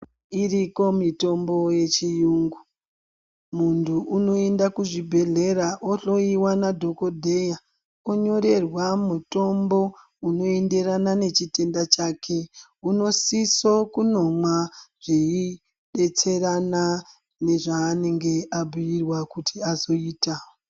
Iriko mitombo yechiyungu muntu unoenda kuzvibhedhlera ohloiwa nadhogodleya, onyorerwa mutombo unoenderana nechitenda chake. Unosiso kunomwa zviibetserana nezvaanenge ambuirwa kuti azoita.